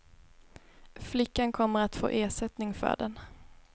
Flickan kommer att få ersättning för den.